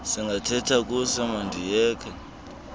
singathetha kuse mandiyeke